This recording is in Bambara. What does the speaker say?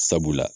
Sabula